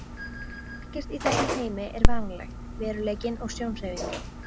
Ekkert í þessum heimi er varanlegt, veruleikinn er sjónhverfing.